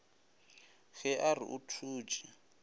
ge a re o thutše